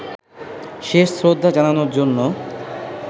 শেষ শ্রদ্ধা জানানোর জন্য